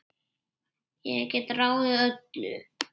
Ég gat ráðið öllu.